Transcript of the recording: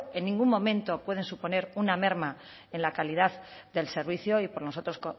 en ningún momento pueden suponer una merma en la calidad del servicio y nosotros